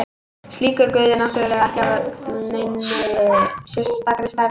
Slíkur guð er náttúrulega ekki af neinni sérstakri stærð.